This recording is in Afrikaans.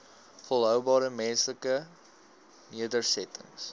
volhoubare menslike nedersettings